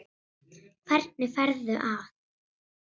Hvernig ferðu að?